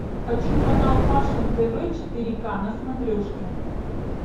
хочу канал фашн тв четыре ка на смотрешке